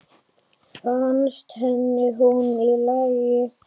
Fannst henni hún í lagi?